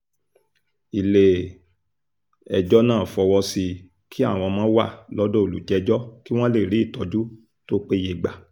ilé-ẹjọ́ náà fọwọ́ sí i kí àwọn ọmọ wà lọ́dọ̀ olùjẹ́jọ́ kí wọ́n lè rí ìtọ́jú tó péye gbà